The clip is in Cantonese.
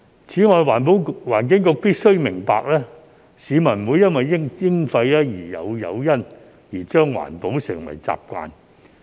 此外，環境局必須明白，市民不會因為徵費而有誘因將環保成為習慣。